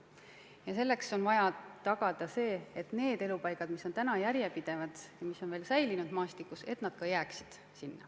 Ja selleks on vaja tagada see, et need elupaigad, mis on veel maastikus säilinud, alles jääksid.